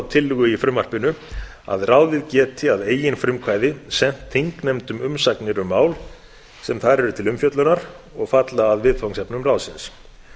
tillögu í frumvarpinu að ráðið geti að eigin frumkvæði sent þingnefndum umsagnir um mál sem þar eru til umfjöllunar og falla að viðfangsefnum ráðsins